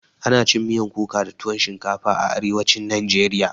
Ana cin miyan kuka da tuwon shinkafa a arewacin najeriya